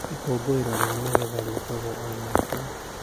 Ikũngũĩro rĩa magetha rĩkagwo o mwaka.